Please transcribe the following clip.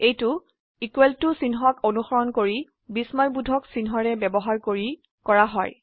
এইটো equal to চিহ্নক অনুসৰন কৰি বিস্ময়বোধক চিনহ্নৰে ব্যবহাৰ কৰি কৰা হয়